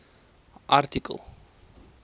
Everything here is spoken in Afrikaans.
artikel